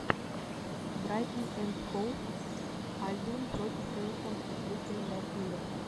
брайтон энд хоув альбион против эвертон открыть календарь игр